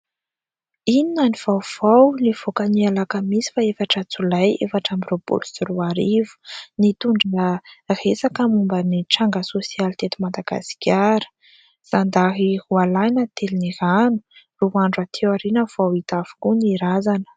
"Inona no vaovao" nivoaka ny Alakamisy faha-efatra Jolay efatra amby roapolo sy roa arivo. Nitondra resaka momba ny tranga sosialy teto Madagasikara : "Zandary roa lahy natelin'ny rano, roa andro aty aoriana vao hita avokoa ny razana".